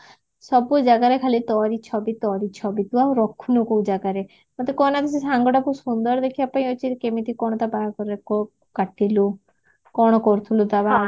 ସବୁ ଜାଗାରେ ଖାଲି ତୋରି ଛବି ତୋରି ଛବି ତୁ ଆଉ ରଖୁନୁ କୋଉ ଜାଗାରେ ମତେ କହନା କିଛି ତୋ ସାଙ୍ଗଟା ସୁନ୍ଦର ଦେଖିବା ପାଇଁ ଅଛି କେମିତି କଣ ତା ବାହାଘକୁ କାଟିଲୁ କଣ କରୁଥିଲୁ ତା ବାହାଗରରେ